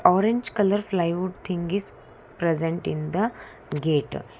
Orange colour flywood thing is present in the gate.